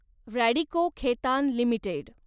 Radico Khaitan limited